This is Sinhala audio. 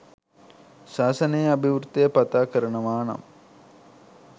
ශාසනයේ අභිවෘද්ධිය පතා කරනවා නම්